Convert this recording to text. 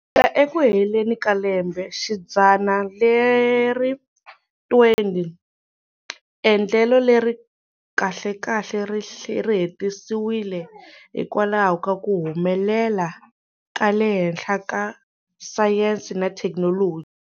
Eku heleni ka lembexidzana leri 20, endlelo leri kahlekahle ri hetisiwile hikwalaho ka ku humelela ka le henhla ka sayense na thekinoloji.